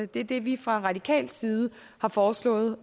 det er det vi fra radikal side har foreslået